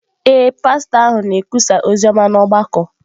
Ee, pastọ ahụ na-ekwusa ozi ọma n’ọgbakọ